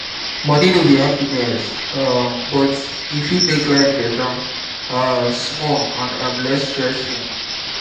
moni no be happiness um but e fit make life better um small and um less stressful.